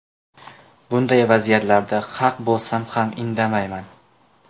Bunday vaziyatlarda haq bo‘lsam ham indamayman.